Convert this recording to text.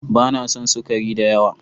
Ba na son sukari da yawa.